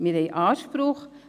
Wir haben Anspruch.